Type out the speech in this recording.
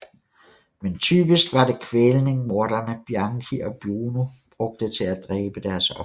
Men typisk var det kvælning morderne Bianchi og Buono brugte til at dræbe deres ofre